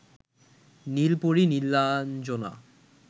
নীলপরী Nilanjana